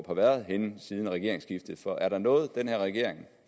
har været henne siden regeringsskiftet for er der noget den her regering